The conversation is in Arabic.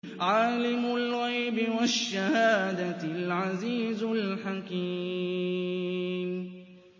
عَالِمُ الْغَيْبِ وَالشَّهَادَةِ الْعَزِيزُ الْحَكِيمُ